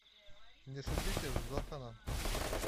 не шутите с зоханом